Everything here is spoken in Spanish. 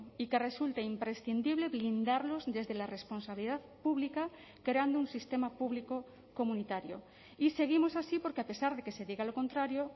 y que resulta imprescindible blindarlos desde la responsabilidad pública creando un sistema público comunitario y seguimos así porque a pesar de que se diga lo contrario